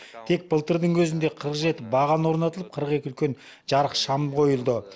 тек былтырдың өзінде қырық жеті баған орнатылып қырық екі үлкен жарық шам қойылды